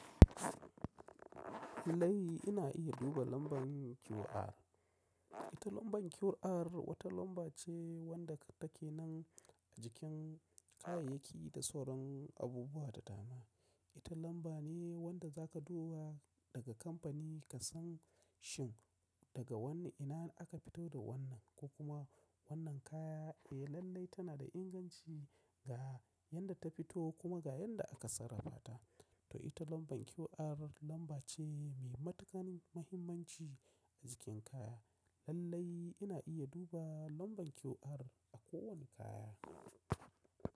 Lallai ina iya duba lambar QR. Ita lambar QR wata lamba ce wanda take nan a jikin kayayyaki da sauran abubuwa da dama. Ita lamba ne wanda zaka duba daga kamfani ka san shin daga wanne, ina aka fito da wannan ko kuma wannan kaya eh lallai tana da inganci ga yanda ta fito kuma ga yadda aka sarrafa ta. To ita lambar QR lamba ce mai matuƙar mahimmanci a jikin kaya. Lallai ina iya duba lambar QR a kowane kaya.